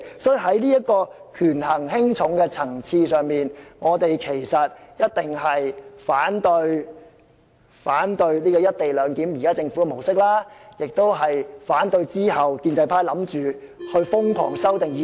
所以，在這個權衡輕重的層次上，我們一定會反對現時政府"一地兩檢"的模式，也會反對建制派其後打算瘋狂......